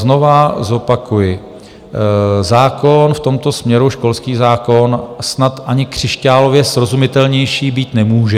Znova zopakuji, zákon v tomto směru, školský zákon, snad ani křišťálově srozumitelnější být nemůže.